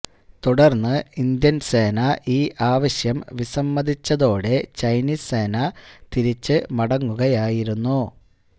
തുടര്ന്ന് ഇന്ത്യന് സേന ഈ ആവശ്യം വിസമ്മതിച്ചതൊടെ ചൈനീസ് സേന തിരിച്ച് മടങ്ങുകയായിരുന്നു